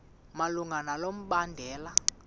malunga nalo mbandela